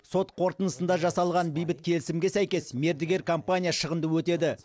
сот қорытындысында жасалған бейбіт келісімге сәйкес мердігер компания шығынды өтеді